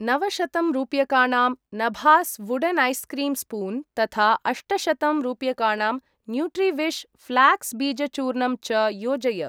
नवशतं रूप्यकाणां नभास् वुडेन् ऐस् क्रीम् स्पून् तथा अष्टशतं रूप्यकाणां न्यूट्रिविश् फ्लाक्स् बीज चूर्णम् च योजय।